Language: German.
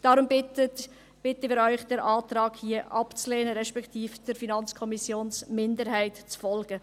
Wir bitten Sie den Antrag abzulehnen, respektive der FiKo-Minderheit zu folgen.